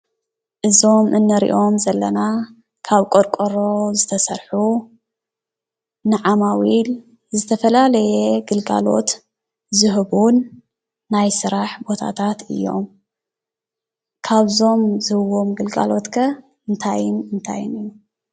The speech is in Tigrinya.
እዞም እንሪኦም ዘለና ካብ ቆርቆሮ ዝተሰርሑ ንዓማዊል ዝተፈላለየ ግልጋሎት ዝህቡን ናይ ስራሕ ቦታታት እዮም። ካብዞም ዝህብዎም ግልጋሎት ከ እንታይን እንታይን እዩ?